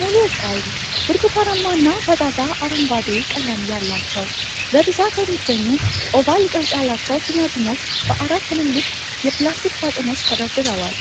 ሙሉ ቀይ፣ ብርቱካናማ እና ፈዛዛ አረንጓዴ ቀለም ያላቸው በብዛት የሚገኙ ኦቫል ቅርጽ ያላቸው ቲማቲሞች በአራት ትልልቅ የፕላስቲክ ሳጥኖች ተደርድረዋል፤